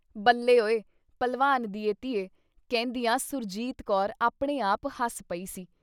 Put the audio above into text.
ਬੱਲੇ ਉਏ ! ਭਲਵਾਨ ਦੀਏ ਧੀਏ! ਕਹਿੰਦਿਆਂ ਸੁਰਜੀਤ ਕੌਰ ਆਪਣੇ ਆਪ ਹਸ ਪਈ ਸੀ।